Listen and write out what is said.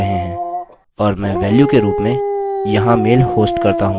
अतः हम अपनी php dot ini फाइल में इस लाइन को एडिट कर रहे हैं